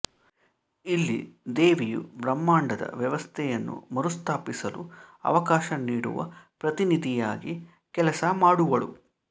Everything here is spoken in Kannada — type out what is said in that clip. ಇಲ್ಲಿ ದೇವಿಯು ಬ್ರಹ್ಮಾಂಡದ ವ್ಯವಸ್ಥೆಯನ್ನು ಮರುಸ್ಥಾಪಿಸಲು ಅವಕಾಶ ನೀಡುವ ಪ್ರತಿನಿಧಿಯಾಗಿ ಕೆಲಸ ಮಾಡುವಳು